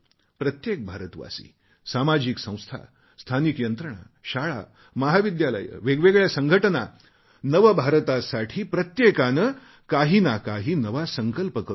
प्रत्येक भारतवासी सामाजिक संस्था स्थानिक यंत्रणा शाळा महाविद्यालये वेगवेगळ्या संघटना नवभारतासाठी प्रत्येकाने काही ना काही नवा संकल्प करू या